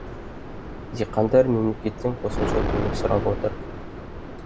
диқандар мемлекеттен қосымша көмек сұрап отыр